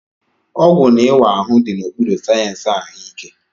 Ọgwụ na ịwa ahụ dị n'okpuru sayensị ahụike.